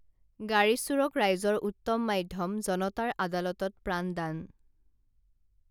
গাড়ীচোৰক ৰাইজৰ উত্তম মাধ্যম জনতাৰ আদালতত প্ৰাণদান